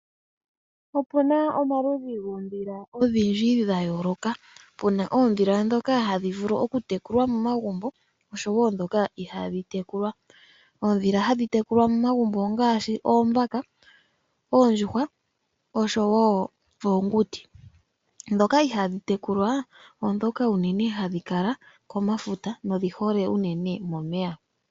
Opuna omaludhi goondhila dha yooloka pena oondhila ndhoka hadhi vulu okutekulwa momagumbo naandhoka ihadhi tekulwa momagumbo. Oondhila hadhi tekulwa momagumbo ongaashi oondjuhwa, oombaka oshowo oonguti. Ndhoka ihadhi tekulwa momagumbo odhondhi hadhi adhika komafuta nodhi hole momeya.